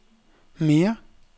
mere